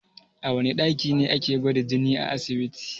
A wana ɗaki ne ake gwada jini a asibiti?